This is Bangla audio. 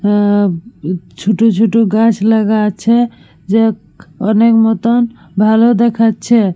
হম ছোট ছোট গাছ লাগা আছে যা অনেক মতন ভালো দেখাচ্ছে।